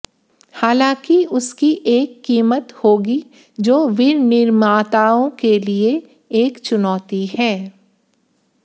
हालांकि उसकी एक कीमत होगी जो विनिर्माताओं के लिए एक चुनौती है